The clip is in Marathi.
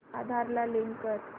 आधार ला लिंक कर